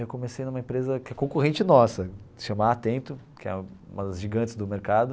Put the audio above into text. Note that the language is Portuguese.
Eu comecei numa empresa que é concorrente nossa, chama Atento, que é uma das gigantes do mercado.